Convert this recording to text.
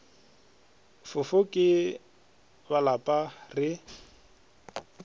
fofo ke ba lapa re